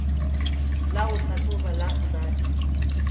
la ho hlahloba la rebate